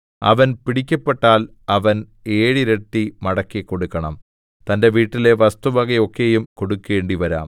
അവൻ പിടിക്കപ്പെട്ടാൽ അവൻ ഏഴിരട്ടി മടക്കിക്കൊടുക്കണം തന്റെ വീട്ടിലെ വസ്തുവക ഒക്കെയും കൊടുക്കേണ്ടിവരാം